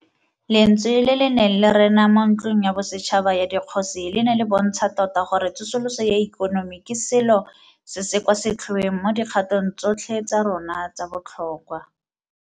Lentswe le le neng le rena mo Ntlong ya Bosetšhaba ya Dikgosi le ne le bontsha tota gore tsosoloso ya ikonomi ke selo se se kwa setlhoeng mo dikgatong tsotlhe tsa rona tsa botlhokwa.